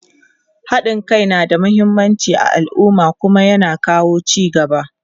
haɗin Kai na da muhimmanci a alumma Kuma ya na kawo ci gaba